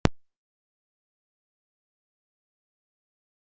Þið hafið ekki alltaf spilað frammi er það?